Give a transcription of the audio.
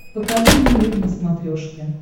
покажи мне мир на смотрешке